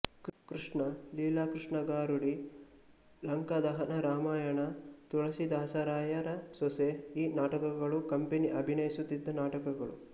ಕೃಷ್ಣ ಲೀಲಾಕೃಷ್ಣ ಗಾರುಡಿಲಂಕದಹನರಾಮಾಯಣ ತುಳಸೀದಾಸರಾಯರಸೊಸೆ ಈ ನಾಟಕಗಳು ಕಂಪನಿ ಅಭಿನಯಿಸುತ್ತಿದ್ದ ನಾಟಕಗಳು